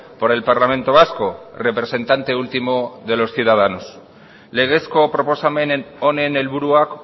por el parlamento vasco representante último de los ciudadanos legezko proposamen honen helburuak